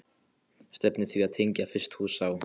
Stefnt er að því að tengja fyrstu hús á